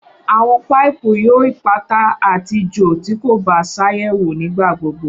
Awọn paipu yoo ipata ati jo ti ko ba ṣayẹwo nigbagbogbo.